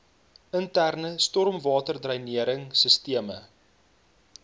interne stormwaterdreinering sisteme